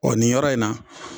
O nin yɔrɔ in na